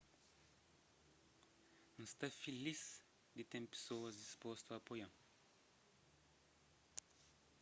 n sta filis di ten pesoas dispostu a apoia-m